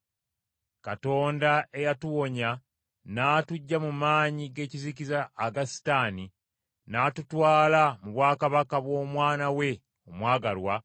Katonda eyatuwonya n’atuggya mu maanyi g’ekizikiza aga Setaani, n’atutwala mu bwakabaka bw’Omwana we omwagalwa,